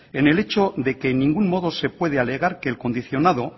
en el hecho de que en ningún modo se puede alegar que el condicionado